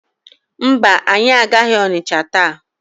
Mba, anyị agaghị Ọnịcha taa.